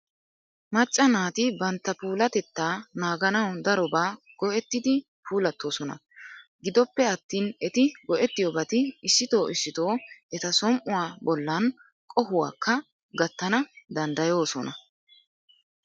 Macca naati bantta puulatettaa naaganawu darobaa go'ettidi puulattoosona. Gidoppe attin eti go'ettiyobati issito issito eta som"uwa bollan qohuwakka gattana danddayoosona.